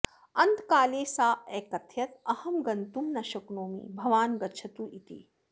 अन्तकाले सा अकथयत् अहं गन्तुं न शक्नोमि भवान् गच्छतु इति